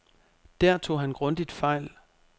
Der tog han grundigt fejl.